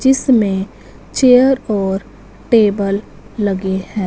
जिसमें चेयर और टेबल लगे हैं।